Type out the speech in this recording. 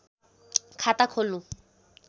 खाता खोल्नु